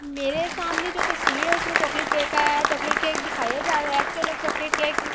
میرے سامنے جو تشویر ہے اسمے چاکلیٹ کیک آیا ہے۔ چاکلیٹ کیک دکھایا جا رہا ہے۔ اکثر لوگ چاکلیٹ کیک --